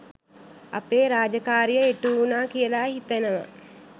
අපේ රාජකාරිය ඉටුවුණා කියල හිතෙනවා.